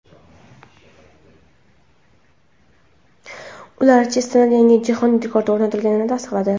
Ular Chestnat yangi jahon rekordi o‘rnatganini tasdiqladi.